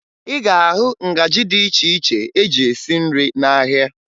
Ị ga-ahụ ngaji dị iche iche eji esi nri n'ahịa